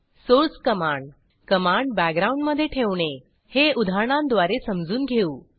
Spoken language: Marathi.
सोर्स कमांड कमांड backgroundमधे ठेवणे हे उदाहरणांद्वारे समजून घेऊ